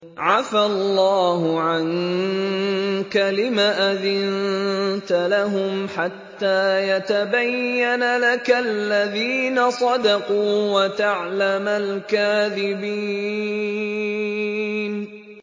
عَفَا اللَّهُ عَنكَ لِمَ أَذِنتَ لَهُمْ حَتَّىٰ يَتَبَيَّنَ لَكَ الَّذِينَ صَدَقُوا وَتَعْلَمَ الْكَاذِبِينَ